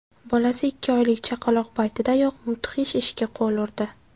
Bolasi ikki oylik chaqaloq paytidayoq mudhish ishga qo‘l urdi.